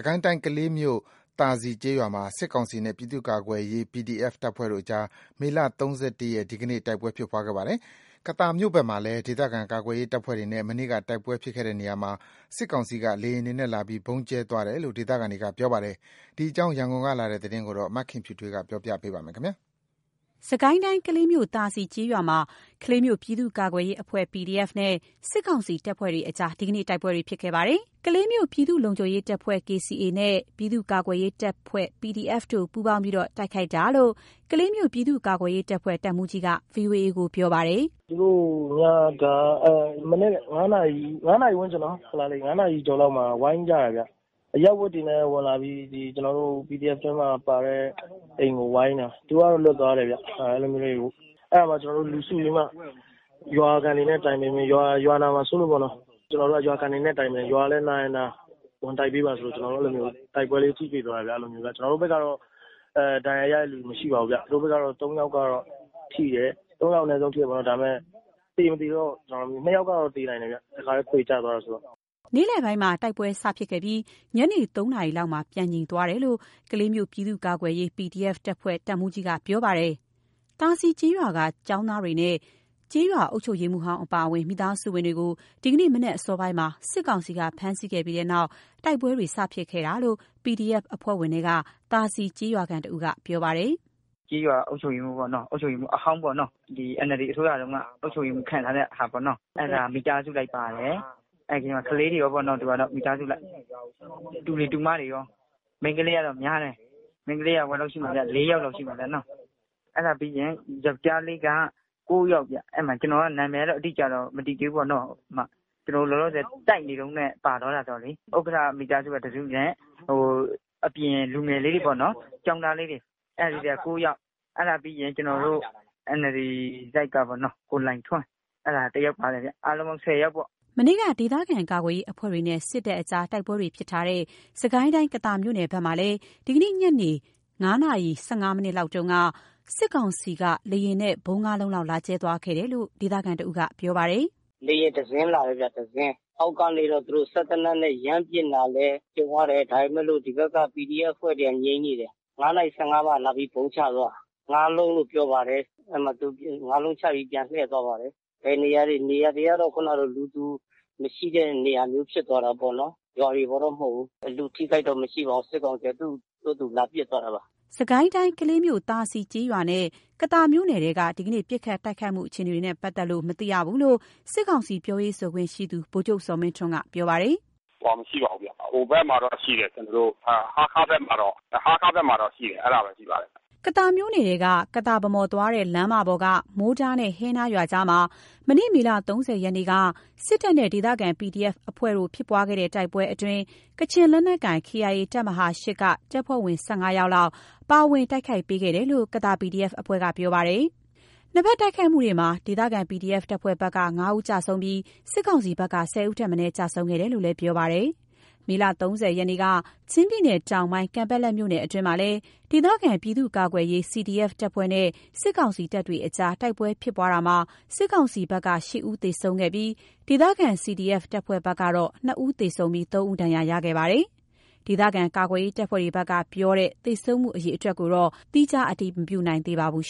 ကိုင်းတိုင်း ကလေးမြို့ သာစည်ကျေးရွာမှာ စစ်ကောင်စီနဲ့ ပြည်သူ့ကာကွယ်ရေး PDF တပ်ဖွဲ့တို့ကြား မေလ ၃၁ ရက် ဒီနေ့ တိုက်ပွဲဖြစ်ပွားခဲ့ပါတယ်။ ကသာမြို့နယ်ဘက်မှာလည်း ဒေသခံကာကွယ်ရေးတပ်ဖွဲ့တွေနဲ့ မနေ့က တိုက်ပွဲဖြစ်ခဲ့တဲ့နေရာမှာ စစ်ကောင်စီက လေယာဉ်တွေနဲ့ လာပြီး ဗုံးကြဲသွားတယ်လို့ ဒေသခံတွေ ပြောပါတယ်။ ဒီအကြောင်း ရန်ကုန်ကလာတဲ့သတင်းကို မခင်ဖြူထွေး ပြောပြပါမယ်။ စစ်ကိုင်းတိုင်း ကလေးမြို့ သာစည်ကျေးရွာမှာ ကလေးမြို့ ပြည်သူ့ကာကွယ်ရေးအဖွဲ့ နဲ့ စစ်ကောင်စီတပ်တို့ကြား ဒီနေ့ တိုက်ပွဲတွေဖြစ်ခဲ့ပါတယ်။ ကလေးမြို့က ပြည်သူ့လုံခြုံရေးအဖွဲ့ နဲ့ ပြည်သူ့ကာကွယ်ရေးတပ်ဖွဲ့ တို့က ပူပေါင်းထားပြီး PDF တပ်ဖွဲ့အနေနဲ့ တိုက်ခိုက်တာလို့ ကလေးမြို့ ပြည်သူ့ကာကွယ်ရေးတပ်ဖွဲ့ တပ်မှူးကြီးက ဗွီအိုအေကို ပြောပါတယ်။ “သူတို့က မနက် ၅ နာရီဝန်းကျင်၊ ၅ နာရီအကျော်လောက်မှာ ဝိုင်းကြတယ်ဗျ။ အရပ်ဝတ်တွေနဲ့ ဝင်လာပြီး ဒီကျနော်တို့ PDF ထဲမှာ ပါတဲ့ အိမ်ကို ဝိုင်းတာ သူတို့ကတော့ လွတ်သွားတယ်ဗျ။ အဲ့ဒီလိုမျိုးလေး အဲ့ဒါကို ကျနော်တို့ လူစုပြီးမှ ရွာခံတွေနဲ့ တိုင်ပင်ပြီး ရွာနာမှာစိုးလို့ပေါ့နော် ကျနော်တို့က ရွာခံတွေနဲ့ တိုင်ပင်၊ ရွာလည်း နာရင် နာ၊ ဝင်တိုက်ပေးပါဆိုလို့ ကျနော်တို့ အဲ့ဒီလိုမျိုး တိုက်ပွဲလေးထိတွေ့သွားတယ်ဗျ။ အဲ့ဒီလိုမျိုး ကျနော်တို့ဘက်ကတော့ ဒဏ်ရာရတဲ့ လူမရှိပါဘူးဗျ။ သူတို့ဘက်ကတော့ ၃ ယောက်ကတော့ ထိတယ်။ ၃ ယောက် အနည်းဆုံး ထိတယ်ပေါ့နော်.. ဒါပေမဲ့ သေ မသေတော့.. ၂ ယောက်ကတော့နိုင်တယ်ဗျ တစ်ခါတည်း ခွေကျသွားတယ်ဆိုတော့။” နေ့လယ်ပိုင်းမှာ တိုက်ပွဲစဖြစ်ခဲ့ပြီး ညနေ ၃ နာရီလောက်မှာ ပြန်ငြိမ်သွားတယ်လို့ ကလေးမြို့ ပြည်သူ့ကာကွယ်ရေး တပ်ဖွဲ့ တပ်မှူးကြီးက ပြောပါတယ်။ သာစည်ကျေးရွာက ကျောင်းသားတွေနဲ့ ကျေးရွာအုပ်ချုပ်ရေးမှူးဟောင်းအပါအဝင် မိသားစုဝင်တွေကို ဒီနေ့မနက်စောပိုင်းမှာ စစ်ကောင်စီက ဖမ်းဆီးခဲ့ပြီးနောက် တိုက်ပွဲတွေ စဖြစ်တာလို့ PDF အဖွဲ့ဝင်ထဲက သာစည်ကျေးရွာခံတစ်ဦးက ပြောပါတယ်။ “ကျေးရွာအုပ်စုရေးမှူးပေါ့နော်၊ အုပ်ချုပ်ရေးမှူးအဟောင်းပေါ့နော်၊ ဒီ NLD အစိုးရတုန်းကအုပ်ချုပ်ရေးမှူး ခန့်ထားတဲ့ဟာပေါ့နော်။ အဲ့ဒါမိသားစုလိုက်ပါတယ်။ အဲ့ဒီထဲမှာ ကလေးတွေရောပေါ့နော်... သူကတော့ မိသားစုအလိုက် တူတွေ၊ တူမတွေရော မိန်းကလေးတော့များတယ်။ မိန်းကလေးက ၄ ယောက်လောက်တော့ ရှိမယ်နော်။ အဲ့ဒါပြီးရင် ယောကျာ်းလေးက ၉ ယောက်ဗျ။ အဲ့ဒီမှာ ကျနော်က နာမည်ကတော့ အတိအကျတော့ မသိသေးဘူးပေါ့နော် ကျနော်တို့ လောလောဆယ်တိုက်နေတုန်းနဲ့ ပါသွားတယ်ဆိုတော့လေ။ဥက္ကဋ္ဌမိသားစု တစ်စုနဲ့ အပြင်လူငယ်လေးတွေပေါ့နော်။ ကျောင်းသားလေးတွေ အဲ့ဒါ ၉ ယောက်။ အဲ့ဒါပြီးရင် ကျနော်တို့ NLD တိုက်ကပေါ့နော်... ကိုလှိုင်ထွန်း အဲ့ဒါတစ်ယောက်ပါတယ်ဗျ အားလုံးပေါင်း ၁၀ ယောက်ပေါ့။” မနေ့က ဒေသခံကာကွယ်ရေးအဖွဲ့တွေနဲ့ စစ်တပ်ကြား တိုက်ပွဲတွေဖြစ်ထားတဲ့ စစ်ကိုင်းတိုင်း ကသာမြို့နယ်ဘက်မှာလည်း ဒီနေ့ညနေ ညနေ ၅ နာရီ ၁၅ မိနစ်လောက်က စစ်ကောင်စီက လေယာဉ်နဲ့ ဗုံး ငါးလုံးလောက် လာကြဲသွားတယ်လို့ ဒေသခံတစ်ဦးက ပြောပါတယ်။ “လေယာဉ် တစ်စင်းဗျ၊ တစ်စင်းအောက်နေကပြီးတော့ သူတို့ စက်သေနတ်နဲ့ ရမ်းပစ်လာလည်း ကြုံရတယ်။ ဒါပေမဲ့လို့ ဒီဘက်က PDF အဖွဲ့တွေက ငြိမ်နေတယ်။ ၅ နာရီ ၁၅ မှာ လာပြီး ဗုံးချသွားတာ ငါးလုံးလို့ ပြောပါတယ်။ အဲ့ဒီမှာ ငါးလုံးချပြီး သူပြန်လှည့်သွားပါတယ်၊ ဘယ်နေရာလဲ နေရာတွေက ခုနတော့ လူသူမရှိတဲ့နေရာဖြစ်သွားတာပေ့ါနော်။ ရွာတွေပေါ်တော့ မဟုတ်ဘူး။ လူအထိအခိုက်တော့ မရှိပါဘူး။ စစ်ကောင်စီက သူ့ဟာသူလာပစ်သွားတာပါ။” စစ်ကိုင်းတိုင်း ကလေးမြို့ သာစည်ကျေးရွာနဲ့ ကသာမြို့နယ်ထဲက ဒီကနေ့ ပစ်ခတ်တိုက်ခိုက်မှုအခြေအနေကို မသိရသေးဘူးလို့ စစ်ကောင်စီ ပြောရေးဆိုခွင့်ရှိသူ ဗိုလ်ချုပ် ဇော်မင်းထွန်းက ပြောပါတယ်။ “ဟိုဟာ မရှိပါဘူးဗျ၊ ဟိုဘက်မှာတော့ ရှိတယ်။ ကျနော်တို့ ဟားခါးဘက်မှာတော့၊ ဟားခါးဘက်မှာတော့ ရှိတယ်။ အဲ့ဒါပဲ ရှိပါတယ်။” ကသာမြို့နယ်ထဲက ကသာ-ဗန်းမော်သွားတဲ့ လမ်းမပေါ်က မိုးတားနဲ့ ဟဲနားရွာကြားမှာ မနေ့ မေလ ၃၀ ရက်နေ့က စစ်တပ်နဲ့ ဒေသခံ PDF အဖွဲ့တို့ ဖြစ်ပွားတဲ့ တိုက်ပွဲအတွင်း ကချင်လက်နက်ကိုင် KIA တပ်မဟာ ၈ က တပ်ဖွဲ့ ၁၅ ယောက်လောက် ပါဝင်တိုက်ခိုက်ပေးတယ်လို့ ကသာ PDF အဖွဲ့ကပြောပါတယ်။ နှစ်ဘက်တိုက်ခိုက်မှုမှာ ဒေသခံ PDF တပ်ဖွဲ့ဘက်က ၅ ဦးကျဆုံးပြီး စစ်ကောင်စီဘက်က ၁၀ ဦးထက်မနည်း ကျဆုံးခဲ့တယ်လို့လည်း ပြောပါတယ်။ မေလ ၃၀ ရက်နေ့က ချင်းပြည်နယ်တောင်ပိုင်း ကန်ပက်လက်မြို့နယ်အတွင်းမှာလည်း ဒေသခံပြည်သူ့ကာကွယ်ရေး CDF တပ်ဖွဲ့နဲ့ စစ်ကောင်စီတို့ကြား တိုက်ပွဲဖြစ်ပွားရာ စစ်ကောင်စီဘက်က ၈ ဦး သေဆုံးခဲ့ပြီး ဒေသခံ CDF တပ်ဖွဲ့ဘက် ၂ ဦး သေ၊ ၃ ဦးဒဏ်ရာရရှိခဲ့ပါတယ်။ ဒေသခံကာကွယ်ရေးတပ်ဖွဲ့တွေဘက်ကပြောတဲ့ သေဆုံးမှုအရေအတွက်ကိုတော့ သီးခြား မတည်မပြုနိုင်သေးပါဘူး